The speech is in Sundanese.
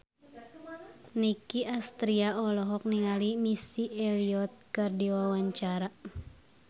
Nicky Astria olohok ningali Missy Elliott keur diwawancara